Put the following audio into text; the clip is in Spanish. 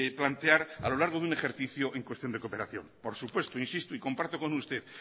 plantear a lo largo de un ejercicio en cuestión de cooperación por supuesto insisto y comparto con usted